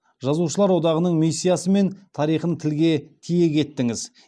жазушылар одағының миссиясы мен тарихын тілге тиек еттіңіз